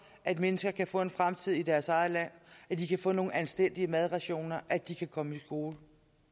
at mennesker kan få en fremtid i deres eget land at de kan få nogle anstændige madrationer at de kan komme i skole